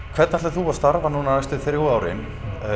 hvernig ætlar þú að starfa núna næstu þrjú árin